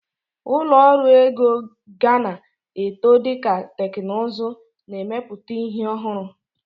Ụlọ ọrụ ego gana eto dika teknuzu n'emeputa ihi ọhụrụ.